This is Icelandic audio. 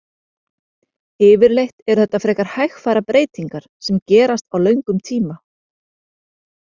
Yfirleitt eru þetta frekar hægfara breytingar sem gerast á löngum tíma.